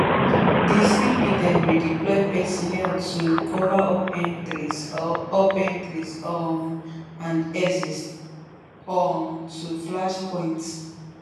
di cp dem redeploy personnel to cover up entries up entries um and exits um to flash points